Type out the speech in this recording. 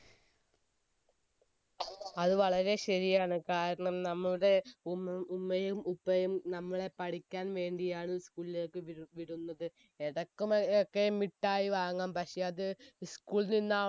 അത് വളരെ ശരിയാണ് കാരണം നമ്മുടെ ഉമ്മയും ഉപ്പയും നമ്മളെ പഠിക്കാൻ വേണ്ടിയാണ് നമ്മളെ school ലേക്ക് വിട് വിടുന്നത് മിഠായി വാങ്ങാം പക്ഷെ അത് school ൽ നിന്നാ